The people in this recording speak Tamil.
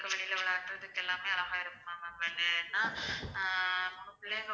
பிள்ளைங்க.